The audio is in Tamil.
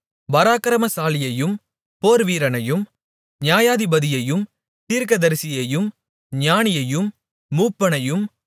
பராக்கிரமசாலியையும் போர்வீரனையும் நியாயாதிபதியையும் தீர்க்கதரிசியையும் ஞானியையும் மூப்பனையும்